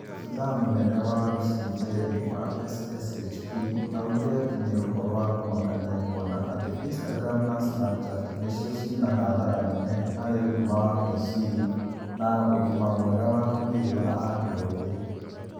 Abithaa mũnene wa Lucy Njeri wa SSHP augire atĩ nĩ ũhoro wa kũmakania kuona atĩ Instagram na Snapchat nĩcio ciĩna hathara nene harĩ ũgima wa meciria na ũgima mwega wa mwĩrĩ wa andũ ethĩ